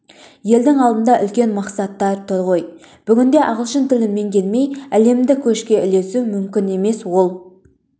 елдің алдында үлкен мақсаттар тұр ғой бүгінде ағылшын тілін меңгермей әлемдік көшке ілесу мүмкін емес ол